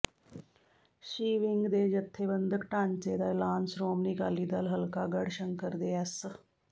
ਸੀ wing ਦੇ ਜਥੇਬੰਦਕ ਢਾਂਚੇ ਦਾ ਐਲਾਨ ਸ਼੍ਰੋਮਣੀ ਅਕਾਲੀ ਦਲ ਹਲਕਾ ਗੜ੍ਹਸ਼ੰਕਰ ਦੇ ਐਸ